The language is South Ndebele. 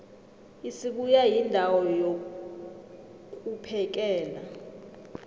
isibuya yindawo yokvphekela